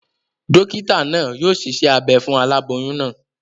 Dókítà naa yio siṣẹ́ abe fún aláboyún naa